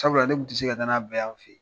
Sabula ne kun tɛ se ka n'a bɛɛ y'an fɛ yen.